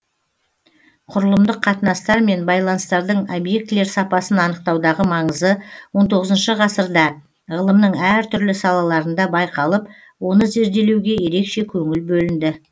құрылымдық қатынастар мен байланыстардың объектілер сапасын анықтаудағы маңызы он тоғызыншы ғасырда ғылымның әр түрлі салаларында байқалып оны зерделеуге ерекше көңіл бөлінді